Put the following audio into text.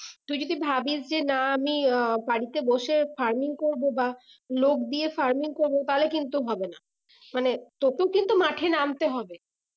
তুই যদি ভাবিস যে না আমি আহ বাড়িতে বসে farming করবো বা লোক দিয়ে farming করবো তাহলে কিন্তু হবে না মানে তোকেও কিন্তু মাঠে নামতে হবে